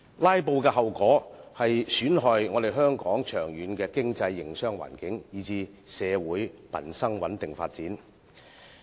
"拉布"的後果損害香港長遠的經濟和營商環境，以至社會民生的穩定發展。